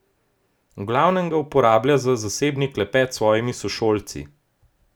V glavnem ga uporablja za zasebni klepet s svojimi sošolci.